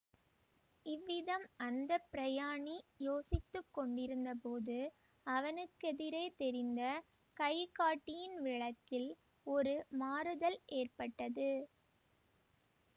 இவ்விதம் அந்த பிரயாணி யோசித்து கொண்டிருந்த போது அவனுக்கெதிரே தெரிந்த கை காட்டியின் விளக்கில் ஒரு மாறுதல் ஏற்பட்டது